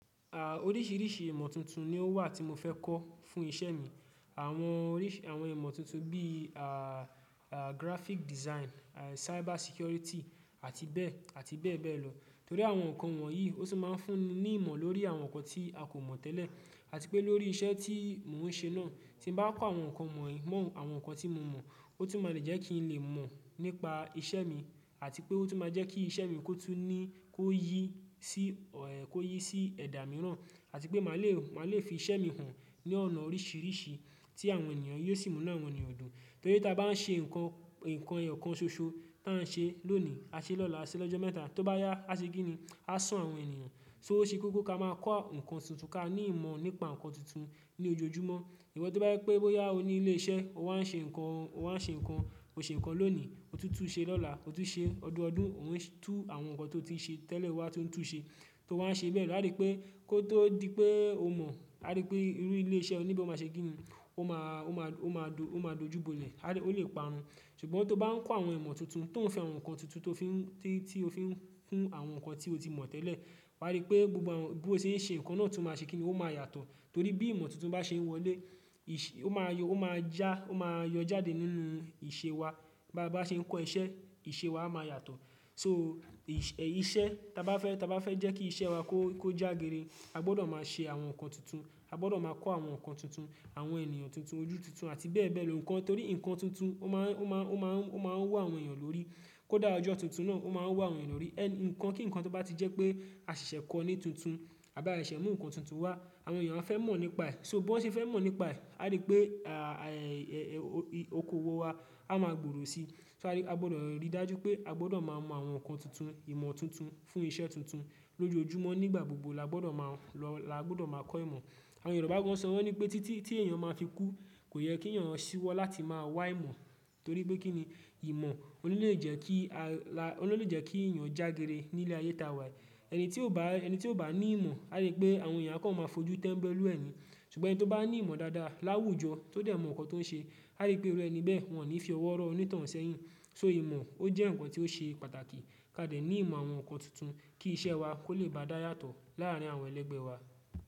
Oríṣìríṣì ìmọ̀ tuntun ni ó wà tí mo fẹ́ kọ́ fún iṣẹ́ mi. Àwọn oríṣì àwọn ìmọ̀ tuntun bí graphic design, cyber security àti bẹ́ẹ̀, àti bẹ́ẹ̀ bẹ́ẹ̀ lọ. Torí àwọn nǹkan wọ̀nyí ó tún máa ń fún ni ìmọ̀ lórí àwọn nǹkan tí a kò mọ̀ tẹ́lẹ̀. Àti pé lórí iṣẹ́ tí mò ń ṣe náà, tí n bá kọ́ àwọn nǹkan won ye, mọ àwọn nǹkan tí mo mọ̀, ó tún máa lè jẹ́ kí n lè mọ̀ nípa iṣẹ́ mi àti pé ó tún máa jẹ́ kí iṣẹ́ mi kó yí sí ẹ̀dá mìíràn. Àti pé máa lè fi iṣẹ́ mi hàn ní ọ̀nà oríṣìríṣì tí yóò sì mú inú àwọn ènìyàn dùn. Torí ta bá n ṣe nǹkan ẹyọ kan ṣoṣo tá n ṣe lónìí, a ṣe lọ́la, a ṣe lọ́jọ́ mẹ́ta, tó bá yá, a ṣe kí ni? A sú àwọn ènìyàn. Ó ṣe kókó ká máa kọ́ nǹkan tuntun ká ní ìmọ̀ nípa nǹkan tuntun ní ọjọ́-ojúmọ́. Ìwọ tó bá jẹ́ pé bóyá o ní ilé iṣẹ́ o wá n ṣe nǹkan, o ṣe nǹkan lónì, o tún tún un ṣe lọ́la, o tún ṣe ọdún ọdún o n tú àwọn nǹkan tó ti ṣe tẹ́lẹ̀ o wá ń tún tún un ṣe. Tó wà n ṣe bẹ́ẹ̀, wá rí pé kó tó di pé o mọ̀, wá rí pé irú ilé iṣẹ́ oní ìbò máa ṣe kí ni? Ó máa, ó máa, ó máa dùn, ó máa dojú bọ́lẹ̀, árí ó lè parun. Ṣùgbọ́n tó bá n kọ́ àwọn ìmọ̀ tuntun tó ń fẹ́ àwọn nǹkan tuntun tó fi ń, tí, tí o fi ń kún àwọn nǹkan tí o ti mọ̀ tẹ́lẹ̀, wá rí i pé gbogbo àwọn, bí o ṣe ń ṣe nǹkan náà tún máa ṣe kí ni? Ó máa yàtọ̀. Torí bí ìmọ̀ tuntun bá ṣe wọlé, ìṣe, ó máa yọ, ó máa já, ó máa yọ jáde nínú ìṣe wa. Bá, bá ṣe n kọ́ iṣẹ́, ìṣe wa máa yàtọ̀. So ìṣ, iṣẹ́ tá a bá fẹ́, tá a bá fẹ́ jẹ́ kí iṣẹ́ wa kó, kó jágiri, a gbọdọ̀ máa ṣe àwọn nǹkan tuntun, a gbọdọ̀ máa kọ́ àwọn nǹkan tuntun, àwọn ènìyàn tuntun, ojú tuntun àti bẹ́ẹ̀ bẹ́ẹ̀ lọ. Ǹkan torí nǹkan tuntun ó máa ń, ó máa ń, ó máa ń, ó máa ń wú àwọn èèyàn lórí. Kó dà ọjọ́ tuntun náà ó máa ń wú àwọn ènìyàn lórí. Ẹ nǹkan kí nǹkan tó bá ti jẹ́ pé a ṣẹ̀ṣẹ̀ kọ́ ọ ní tuntun, a bí a ṣẹ̀ mú nǹkan tuntun wá, àwọn èèyàn a fẹ́ mọ̀ nípa ẹ̀. So bó wọ́n ṣe fẹ́ mọ̀ nípa ẹ̀, a rí pé à, à ẹ, ẹ, okoòwò wa á máa gbòòrò sí i. So a rí, a gbọdọ̀ ríi dájú pé a gbọdọ̀ máa mọ àwọn nǹkan tuntun, ìmọ̀ tuntun fún iṣẹ́ tuntun lójoojúmọ́ nígbà gbogbo la gbọdọ̀ máa lọ, la gbọdọ̀ máa kọ́ ìmọ̀. Àwọn Yorùbá gan sọ wọn ní pé títí tí èèyàn máa fi kú, kò yẹ kí ẹ̀yàn ṣíwọ́ láti máa wá ìmọ̀. Torí pé kí ni ì mọ̀ ó lè lè jẹ́ kí al, ó lè lè jẹ́ kí èèyàn jágere nílé ayé ta wà yìí. Ẹni tí ó bá, ẹni tí ó bá ní ìmọ̀, a rí pé àwọn èèyàn á máa fojú tẹ́mbẹ́lú ẹni. Ṣùgbọ́n ẹni tí ó bá ní ìmọ̀ dáadáa láwùjọ tode mọ ǹkan ton ṣe, aripe irú ẹni bẹ́ẹ̀ wọ́n ni fi owó ro onitoun sẹ́yìn. So, ìmọ̀ oje ǹkan tó ṣe pàtàkì kadeni ìmọ̀ àwọn ǹkan tuntun ose.